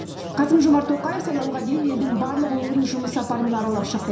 қасым жомарт тоқаев сайлауға дейін елдің барлық өңірін жұмыс сапарымен аралап шықты